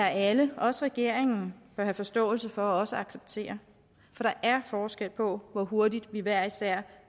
alle også regeringen bør have forståelse for og også acceptere for der er forskel på hvor hurtigt vi hver især